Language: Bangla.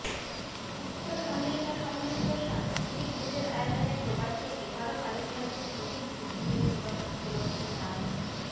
উত্তর আমেরিকা সম্মিলিত সাংস্কৃতিক জোটের আয়োজনে প্রবাসে এবারও পালিত হয়েছে শহীদ বুদ্ধিজীবী দিবস উপলক্ষে নান